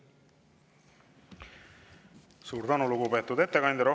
Suur tänu, lugupeetud ettekandja!